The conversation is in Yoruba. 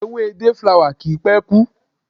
Ewé day flower kì í pé kú.